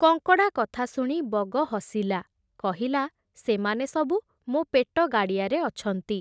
କଙ୍କଡ଼ା କଥା ଶୁଣି ବଗ ହସିଲା, କହିଲା, ସେମାନେ ସବୁ ମୋ’ ପେଟ-ଗାଡ଼ିଆରେ ଅଛନ୍ତି ।